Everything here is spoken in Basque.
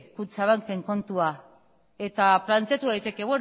kutxabanken kontua eta planteatu daiteke